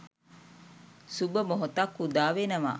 සුබ මොහොතක් උදා වෙනවා